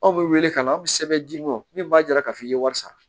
Anw bɛ wele ka na aw bɛ sɛbɛn d'i ma min b'a jira k'a fɔ i ye wari sara